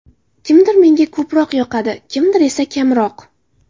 Kimdir menga ko‘proq yoqadi, kimdir esa kamroq.